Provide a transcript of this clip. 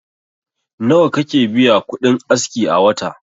Nawa kake biya kudin aski a wata?